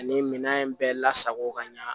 Ani minɛn in bɛɛ lasago ka ɲa